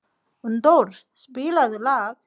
Unndór, spilaðu lag.